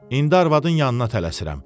İndi arvadın yanına tələsirəm.